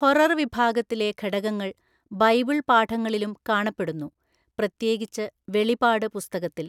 Horror വിഭാഗത്തിലെ ഘടകങ്ങൾ Bible പാഠങ്ങളിലും കാണപ്പെടുന്നു, പ്രത്യേകിച്ച് വെളിപാട് പുസ്തകത്തിൽ.